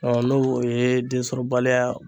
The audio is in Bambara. n'o o ye densɔrɔbaliya